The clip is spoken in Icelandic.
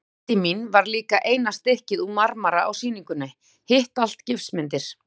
Myndin mín var líka eina stykkið úr marmara á sýningunni, hitt allt gifsmyndir.